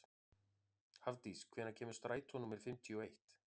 Hafdís, hvenær kemur strætó númer fimmtíu og eitt?